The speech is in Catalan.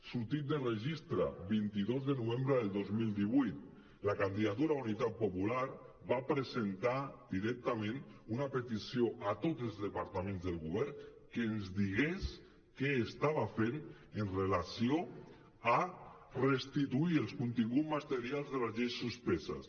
sortit del registre vint dos de novembre del dos mil divuit la candidatura d’unitat popular va presentar directament una petició a tots els departaments del govern perquè ens digués què estava fent en relació amb restituir els continguts materials de les lleis suspeses